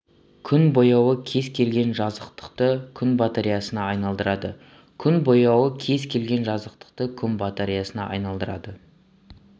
күн бояуы кез келген жазықтықты күн батареясына айналдырады күн бояуы кез келген жазықтықты күн батареясына айналдырады